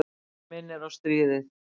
Þetta minnir á stríðið.